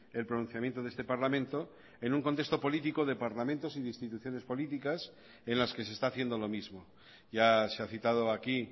el pronunciamiento de este parlamento en un contexto político de parlamentos y de instituciones políticas en las que se está haciendo lo mismo ya se ha citado aquí